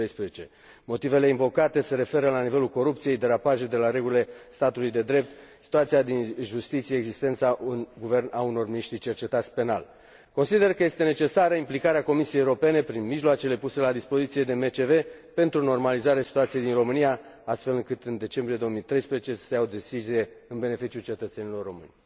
2013. Motivele invocate se referă la nivelul corupției, derapaje de la regulile statului de drept, situația din justiție, existența în Guvern a unor miniștri cercetați penal. Consider că este necesară implicarea Comisiei Europene, prin mijloacele puse la dispoziție de MCV, pentru normalizarea situației din România, astfel încât, în decembrie 2013, să se ia o decizie în beneficiul cetățenilor români.